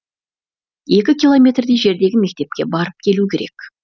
екі километрдей жердегі мектепке барып келу керек